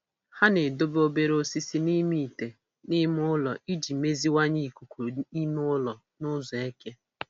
Ha na-edobe obere osisi n'ime ite n'ime ụlọ iji meziwanye ikuku ime ụlọ n'ụzọ eke